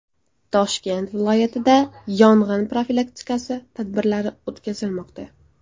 Toshkent viloyatida yong‘in profilaktikasi tadbirlari o‘tkazilmoqda.